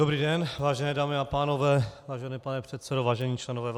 Dobrý den, vážené dámy a pánové, vážený pane předsedo, vážení členové vlády.